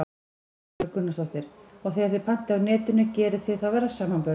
Erla Björg Gunnarsdóttir: Og þegar þið pantið á Netinu, gerið þið þá verðsamanburð?